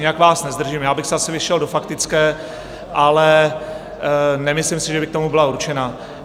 Nijak vás nezdržím, já bych se asi vešel do faktické, ale nemyslím si, že by k tomu byla určena.